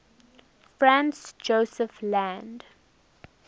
franz josef land